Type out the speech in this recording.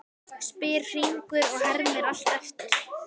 spyr Hringur og hermir allt eftir.